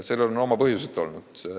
Sellel on oma põhjused.